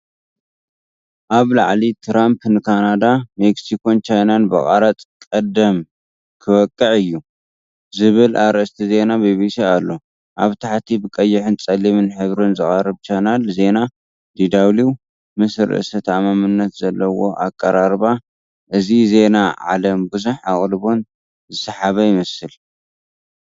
ኣብ ላዕሊ“ትራምፕ ንካናዳ፡ ሜክሲኮን ቻይናን ብቐረጽ ቀዳም ክወቅዕ’ዩ” ዝብል ኣርእስቲ ዜና ቢቢሲ ኣሎ። ኣብ ታሕቲ ብቀይሕን ጸሊምን ሕብሪ ዝቐርብ ቻነል ዜና DW ፡ ምስ ርእሰ ተኣማንነት ዘለዎ ኣቀራርባ፤ እዚ ዜና ዓለም ብዙሕ ኣቓልቦን ዝሰሓበ ይመስል።